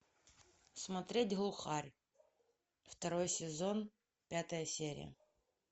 смотреть глухарь второй сезон пятая серия